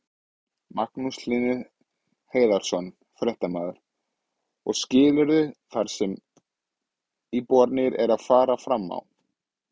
Magnús Hlynur Hreiðarsson, fréttamaður: Og skilurðu það sem íbúarnir eru að fara fram á?